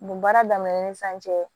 Nin baara daminɛ ni sisan cɛ